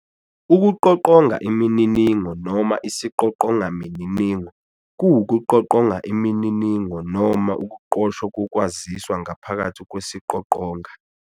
Ukuqoqonga imininingo noma Isiqoqonga mininingo kuwukuqoqonga imininingo noma ukuqoshwa kokwaziswa ngaphakathi kwesiqoqonga.